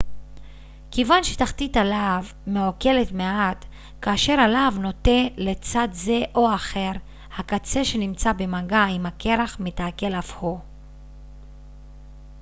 כיוון שתחתית הלהב מעוקלת מעט כאשר הלהב נוטה לצד זה או אחר הקצה שנמצא במגע עם הקרח מתעקל אף הוא